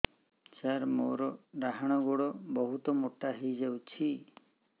ସାର ମୋର ଡାହାଣ ଗୋଡୋ ବହୁତ ମୋଟା ହେଇଯାଇଛି